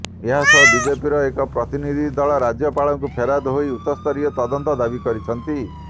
ଏହାସହ ବିଜେପିର ଏକ ପ୍ରତିନିଧି ଦଳ ରାଜ୍ୟପାଳଙ୍କୁ ଫେରାଦ ହୋଇ ଉଚ୍ଚସ୍ତରୀୟ ତଦନ୍ତ ଦାବି କରିଛନ୍ତି